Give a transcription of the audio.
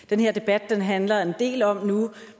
den her debat handler en del om